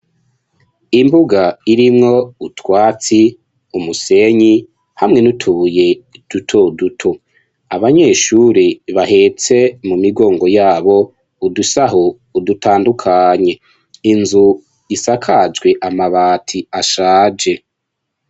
Imbuga irimwo utwatsi, umusenyi hamwe n'utubuye duto duto, abanyeshuri bahetse mu migongo yabo udusaho dutandukanye, inzu isakajwe amabati ashaje.